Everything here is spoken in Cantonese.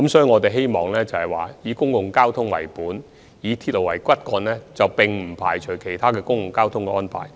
我們的交通政策是以公共交通為本、以鐵路為骨幹，但亦以其他公共交通安排配合。